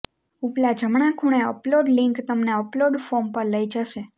ઉપલા જમણા ખૂણે અપલોડ લિંક તમને અપલોડ ફોર્મ પર લઈ જશે